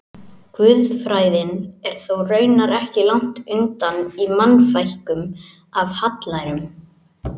Guðfræðin er þó raunar ekki langt undan í Mannfækkun af hallærum.